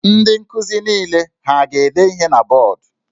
Ndị nkuzi niile ha a ga-ede ihe na bọọdụ?